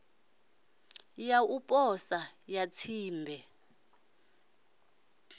ya u posa ya tsimbe